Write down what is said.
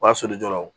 O b'a sɔrɔ jɔw